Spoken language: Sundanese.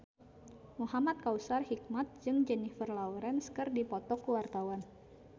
Muhamad Kautsar Hikmat jeung Jennifer Lawrence keur dipoto ku wartawan